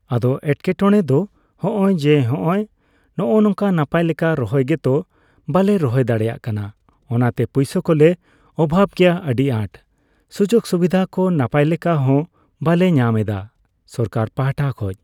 ᱟᱫᱚ ᱮᱴᱠᱮᱴᱚᱲᱮ ᱫᱚ ᱦᱚᱸᱜᱼᱚᱭ ᱡᱮ, ᱦᱚᱸᱜᱼᱚᱭ ᱱᱚᱝᱠᱟ ᱱᱟᱯᱭᱞᱮᱠᱟ ᱨᱚᱦᱚᱭ ᱜᱮᱛᱚ ᱵᱟᱞᱮ ᱨᱚᱦᱚᱭ ᱫᱟᱲᱮᱭᱟᱜ ᱠᱟᱱᱟ᱾ ᱚᱱᱟᱛᱮ ᱯᱚᱭᱥᱟ ᱠᱚ ᱞᱮ ᱚᱵᱷᱟᱵ ᱜᱮᱭᱟ ᱟᱹᱰᱤ ᱟᱸᱴ᱾ ᱥᱩᱡᱳᱜᱽ ᱥᱩᱵᱤᱫᱷ ᱠᱚ ᱱᱟᱯᱟᱭᱞᱮᱠᱟ ᱦᱚᱸ ᱵᱟᱞᱮ ᱧᱟᱢᱮᱫᱟ ᱥᱚᱨᱠᱟᱨ ᱯᱟᱦᱴᱟ ᱠᱷᱚᱡ᱾